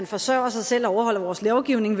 forsørger sig selv og overholder vores lovgivning